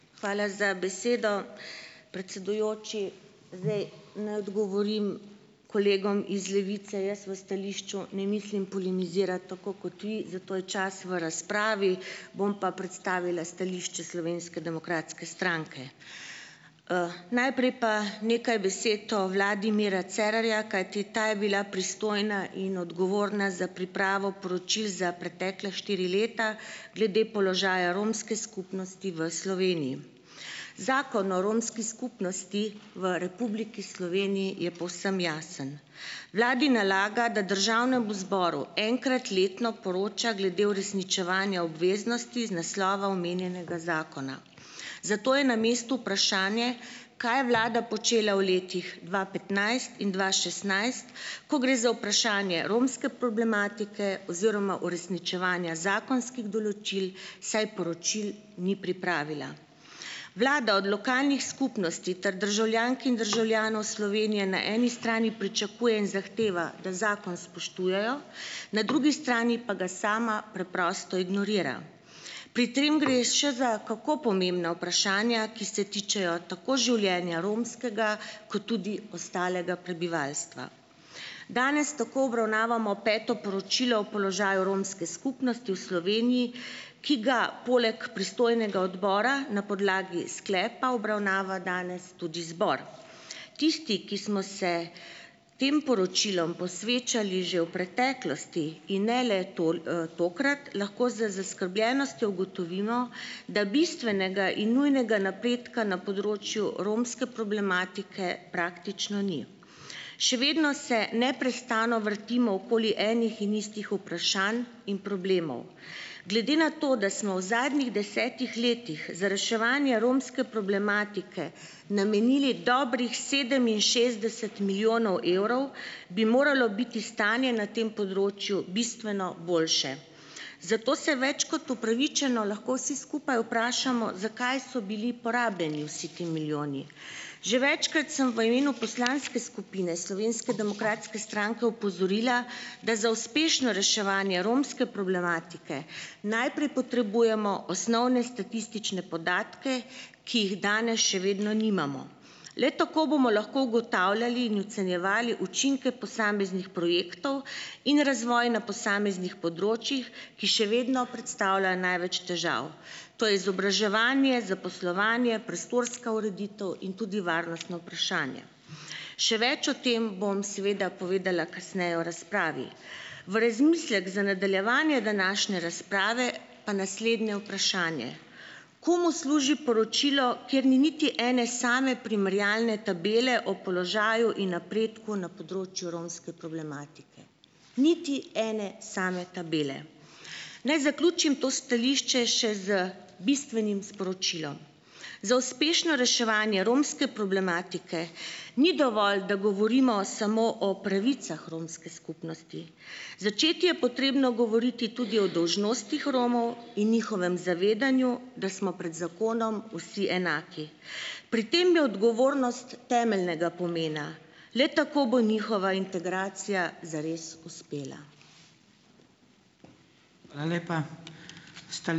Hvala za besedo. Predsedujoči, zdaj ne odgovorim kolegom iz Levice. Jaz v stališču ne mislim polemizirati, tako kot vi, za to je čas v razpravi. Bom pa predstavila stališče Slovenske demokratske stranke. Najprej pa nekaj besed o vladi Mira Cerarja, kajti ta je bila pristojna in odgovorna za pripravo poročil za pretekle štiri leta glede položaja romske skupnosti v Sloveniji. Zakon o romski skupnosti v Republiki Sloveniji je povsem jasen. Vladi nalaga, da državnemu zboru enkrat letno poroča glede uresničevanja obveznosti iz naslova omenjenega zakona. Zato je na mestu vprašanje, kaj je vlada počela v letih dva petnajst in dva šestnajst, ko gre za vprašanje romske problematike oziroma uresničevanja zakonskih določil, saj poročil ni pripravila. Vlada od lokalnih skupnosti ter državljank in državljanov Slovenije na eni strani pričakuje in zahteva, da zakon spoštujejo. Na drugi strani pa ga sama preprosto ignorira. Pri tem gre še za kako pomembna vprašanja, ki se tičejo tako življenja romskega kot tudi ostalega prebivalstva. Danes tako obravnavamo peto poročilo o položaju romske skupnosti v Sloveniji, ki ga poleg pristojnega odbora na podlagi sklepa obravnava danes tudi zbor. Tisti, ki smo se tem poročilom posvečali že v preteklosti in ne le tokrat, lahko z zaskrbljenostjo ugotovimo, da bistvenega in nujnega napredka na področju romske problematike praktično ni. Še vedno se neprestano vrtimo okoli enih in istih vprašanj in problemov. Glede na to, da smo v zadnjih desetih letih za reševanje romske problematike namenili dobrih sedeminšestdeset milijonov evrov, bi moralo biti stanje na tem področju bistveno boljše. Zato se več kot upravičeno lahko vsi skupaj vprašamo, zakaj so bili porabljeni vsi ti milijoni. Že večkrat sem v imenu poslanske skupine Slovenske demokratske stranke opozorila, da za uspešno reševanje romske problematike najprej potrebujemo osnovne statistične podatke, ki jih danes še vedno nimamo. Le tako bomo lahko ugotavljali in ocenjevali učinke posameznih projektov in razvoj na posameznih področjih, ki še vedno predstavljajo največ težav. To je izobraževanje, zaposlovanje, prostorska ureditev in tudi varnostno vprašanje. Še več o tem bom seveda povedala kasneje v razpravi. V razmislek za nadaljevanje današnje razprave pa naslednje vprašanje. Komu služi poročilo, kjer ni niti ene same primerjalne tabele o položaju in napredku na področju romske problematike? Niti ene sama tabele. Naj zaključim to stališče še z bistvenim sporočilom. Za uspešno reševanje romske problematike ni dovolj, da govorimo samo o pravicah romske skupnosti, začeti je potrebno govoriti tudi o dolžnostih Romov in njihovem zavedanju, da smo pred zakonom vsi enaki. Pri tem je odgovornost temeljnega pomena. Le tako bo njihova integracija zares uspela.